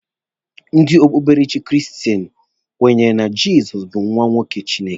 Ndị okpukperechi kristen kwenyere na Jizọs bụ nwa nwoke Chineke.